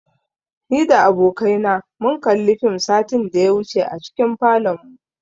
Ni da abokai na mun kalli fim satin da ya wuce a cikin falonmu.